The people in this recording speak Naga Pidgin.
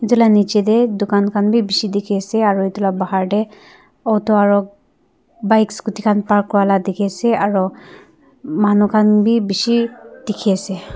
etu lah nicche teh dukan khan bhisi dikhi ase aru etu lah bahar teh auto aru bikes scooty khan park kora lah dikhi ase aro manu khan bhi bishi dikhi ase.